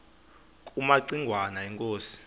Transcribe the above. kumaci ngwana inkosi